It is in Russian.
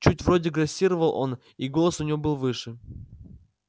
чуть вроде грассировал он и голос у него был выше